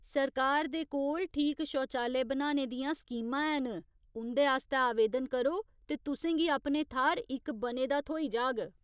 सरकार दे कोल ठीक शौचालय बनाने दियां स्कीमां हैन, उं'दे आस्तै आवेदन करो ते तुसें गी अपने थाह्‌र इक बने दा थ्होई जाग।